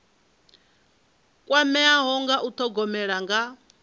kwameaho nga u thogomela nga